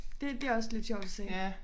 Det det også lidt sjovt at se